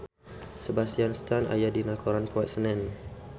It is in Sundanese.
Sebastian Stan aya dina koran poe Senen